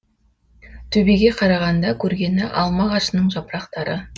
төбеге қарағанда көргені алма ағашының жапырақтары